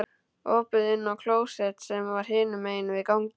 Opið inn á klósettið sem var hinum megin við ganginn.